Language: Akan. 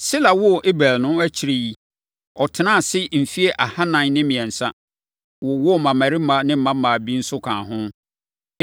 Sela woo Eber no, akyire yi, ɔtenaa ase mfeɛ ahanan ne mmiɛnsa, wowoo mmammarima ne mmammaa bi nso kaa ho.